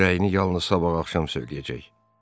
O öz rəyini yalnız sabah axşam söyləyəcək.